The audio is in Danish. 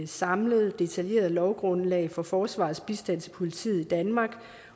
samlet detaljeret lovgrundlag for forsvarets bistand til politiet i danmark